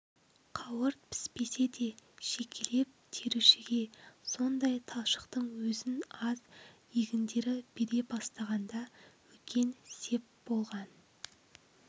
қауырт піспесе де жекелеп терушіге сондай талшықтың өзін аз егіндері бере бастағанда үлкен сеп болған